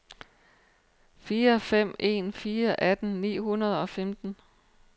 fire fem en fire atten ni hundrede og femten